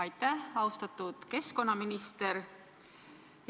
Aitäh, austatud keskkonnaminister!